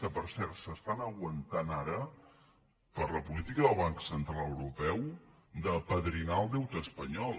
que per cert s’estan aguantant ara per la política del banc central europeu d’apadrinar el deute espanyol